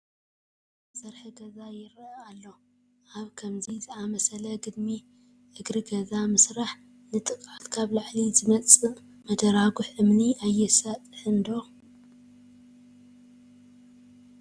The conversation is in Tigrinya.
ኣብ እግሪ ዓይዪ ግድሚ ዝተሰርሐ ገዛ ይርአ ኣሎ፡፡ ኣብ ከምዚ ዝኣምሰለ ግድሚ እግሪ ገዛ ምስራሕ ንጥቅዓት ካብ ላዕሊ ዝመፃእ መደራጉሕ እምኒ ኣየሳጥሕን ዶ?